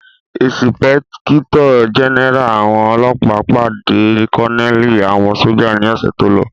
Ìsìpẹ́kítọ̀ jẹ́nẹ́rà àwọn ọlọ́ọ̀pá pàdé kọ́nẹ̀lì àwọn sójà ní ọ̀sẹ̀ tólọ